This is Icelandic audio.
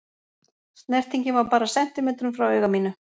Snertingin var bara sentímetrum frá auga mínu.